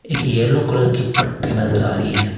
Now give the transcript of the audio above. एक yellow colour की पट्टी नजर आ रही है।